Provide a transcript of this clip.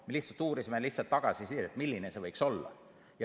Me lihtsalt uurisime tagasisidet, milline see võiks olla.